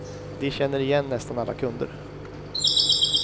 De känner igen nästan alla kunder.